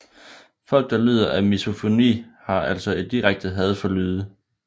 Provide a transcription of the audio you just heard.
Folk der lider af misofoni har altså et direkte had for lyde